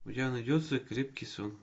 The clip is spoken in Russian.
у тебя найдется крепкий сон